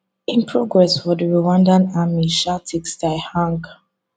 im progress for di rwandan army sha take style hang